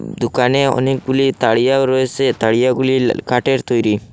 দুকানে অনেকগুলি তারিয়াও রয়েসে তারিয়াগুলি কাঠের তৈরি।